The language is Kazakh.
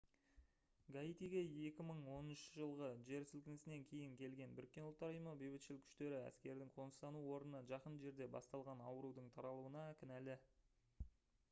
гаитиге 2010 жылғы жер сілкінісінен кейін келген бұұ бейбітшіл күштері әскердің қоныстану орнына жақын жерде басталған аурудың таралуына кінәлі